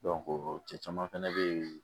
cɛ caman fɛnɛ be yen